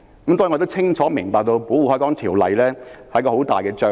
當然，我清楚明白《保護海港條例》是很大的障礙。